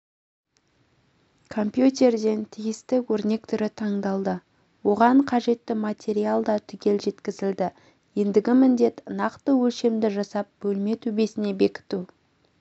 компьютерден тиісті өрнек түрі таңдалды оған қажетті материал да түгел жеткізілді ендігі міндет нақты өлшемді жасап бөлме төбесіне бекіту